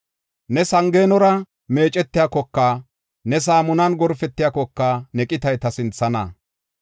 “Ne sangeenora meecetiyakoka, saamunan gorpetiyakoka ne qitay ta sinthana.